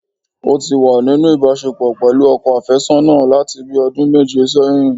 Ó tí wà nínú ìbásepọ̀ pẹ̀lú ọkọ àfésọ́nà láti bíi ọdún méje sẹ́yìn